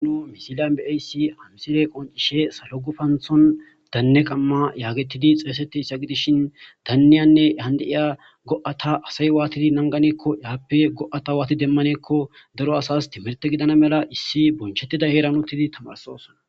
anu misilyan baysi hamsile qon cishe salogufanthon danne qamma yaagetidi xeesetteyssa gidishin danniyanne yande7iyaa go7ata asay waatidi nanganeekko yaappe go7ata waati demmaneekko daro asas timirte gidana mela issi bonchettida heeran uttidi tamarsosona